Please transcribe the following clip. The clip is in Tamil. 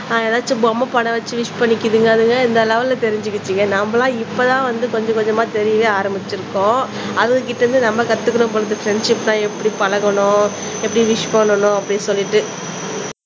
ஏதாச்சும் பொம்மை படம் வச்சு விஷ் பண்ணிக்குதுங்க அதுங்க இந்த லெவல்ல தெரிஞ்சிகிச்சிங்க நாமெல்லாம் இப்பதான் வந்து கொஞ்சம் கொஞ்சமா தெரியவே ஆரம்பிச்சிருக்கோம் அதுங்க கிட்ட இருந்து நம்ம கத்துக்கணும் போல இருக்கு ஃப்ரண்ட்ஷிப்னா எப்படி பழகணும் எப்படி விஷ் பண்ணனும் அப்படி சொல்லிட்டு